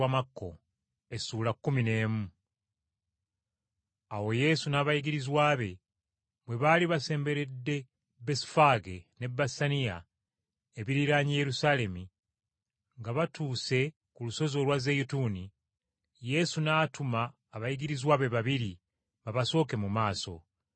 Awo Yesu n’abayigirizwa be, bwe baali basemberedde Besufaage ne Besaniya ebiriraanye Yerusaalemi, nga batuuse ku lusozi olwa Zeyituuni, Yesu n’atuma abayigirizwa be babiri babasooke mu maaso.